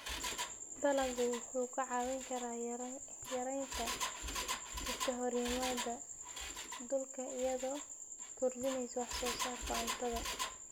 Dalaggu wuxuu kaa caawin karaa yaraynta iskahorimaadyada dhulka iyadoo kordhinaysa wax soo saarka cuntada.